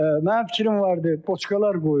Mənim fikrim var idi, poçkalar qoyum.